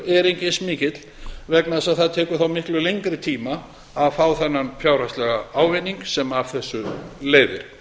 er ekki eins mikill vegna þess að það tekur þá miklu lengri tíma að fá þennan fjárhagslega ávinning sem af þessu leiðir